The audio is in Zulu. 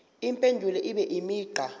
impendulo ibe imigqa